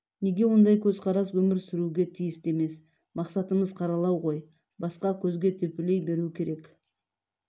неге ондай көзқарас өмір сүруге тиісті емес мақсатымыз қаралау ғой басқа-көзге төпелей беру керек